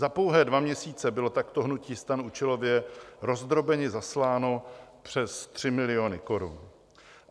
Za pouhé dvě měsíce bylo takto hnutí STAN účelově rozdrobeně zasláno přes 3 miliony korun.